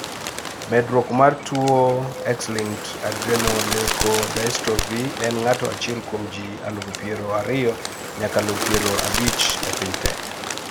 medruok mar tuwo X-linked adrenoleukodystrophy en ng'ato achiel kuom ji aluf pier ariyo nyaka aluf pier abich e piny te